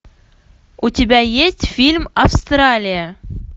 у тебя есть фильм австралия